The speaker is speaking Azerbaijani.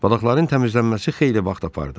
Balıqların təmizlənməsi xeyli vaxt apardı.